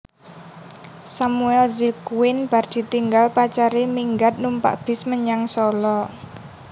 Samuel Zylgwyn bar ditinggal pacare minggat numpak bis menyang Sala